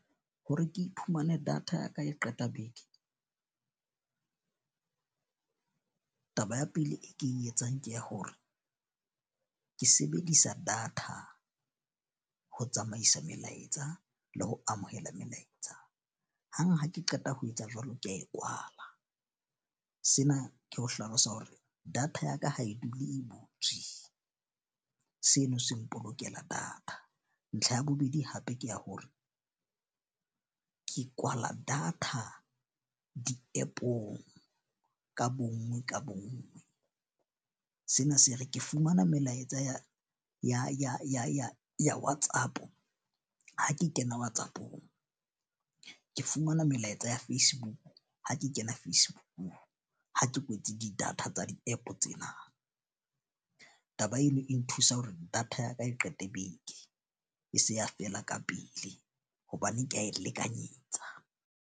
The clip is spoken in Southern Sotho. Hore ke iphumane data ya ka e qeta beke. Taba ya pele, e ke e etsang ke ya hore ke sebedisa data ho tsamaisa melaetsa le ho amohela melaetsa. Hang ha ke qeta ho etsa jwalo, ke a e kwala. Sena ke ho hlalosa hore data ya ka ha e dule e butswe. Seno se mpolokela data. Ntlha ya bobedi hape ke ya hore ke kwala data di-App-ong ka bonngwe ka bonngwe. Sena se re ke fumana melaetsa ya WhatsApp. Ha ke kena WhatsApp-ong, ke fumana melaetsa ya Facebook ha ke kena Facebook-ung ha ke kwetse di-data tsa di-App tsena. Taba eno e nthusa hore data ya ka e qete beke e se ka fela ka pele hobane ke a e lekanyetsa.